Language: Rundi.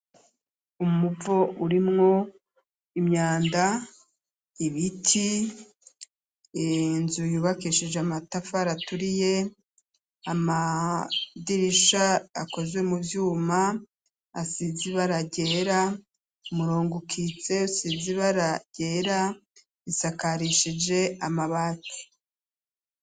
Umuvo urimwo imyanda, ibiti, inzu yubakishije amatafari aturiye amadirisha akozwe mu vyuma asize ibara ryera, umurongo ukitse usize ibara ryera bisakarishije amabati.